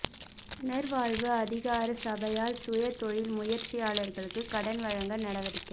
புனர்வாழ்வு அதிகார சபையால் சுய தொழில் முயற்சியாளர்களுக்கு கடன் வழங்க நடவடிக்கை